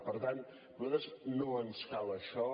per tant a nosaltres no ens cal això